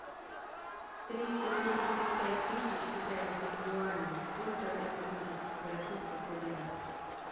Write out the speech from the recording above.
триста семьдесят пять тысяч китайских юаней сколько это будет в российских рублях